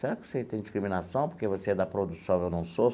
Será que você tem discriminação porque você é da produção e eu não sou?